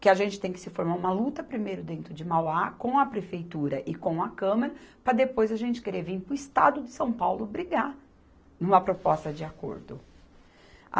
que a gente tem que se formar uma luta primeiro dentro de Mauá, com a Prefeitura e com a Câmara, para depois a gente querer vir para o Estado de São Paulo brigar em uma proposta de acordo.